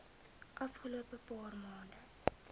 afgelope paar maande